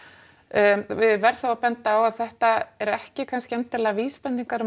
ég verð þó að benda á að þetta eru ekki kannski vísbendingar um